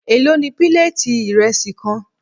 Èló ni píléètì ìrẹsì kan.?